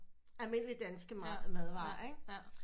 Almindelige danske madvarer ikke